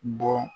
Bɔ